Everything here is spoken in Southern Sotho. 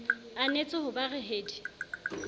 anetse ho ba re hedi